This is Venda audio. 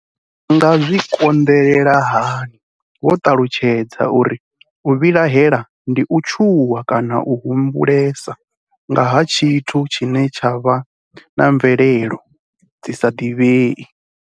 Vha nga zwi kon ḓelela hani Vho ṱalutshedza uri u vhilaela ndi u tshuwa kana u humbulesa nga ha tshithu tshine tsha vha na mvelelo dzi sa ḓivhei.